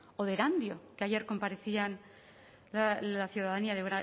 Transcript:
o de erandio que ayer comparecían la ciudadanía de